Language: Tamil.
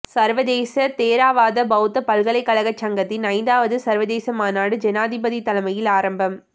சர்வதேச தேரவாத பௌத்த பல்கலைக்கழக சங்கத்தின் ஐந்தாவது சர்வதேச மாநாடு ஜனாதிபதி தலைமையில் ஆரம்பம்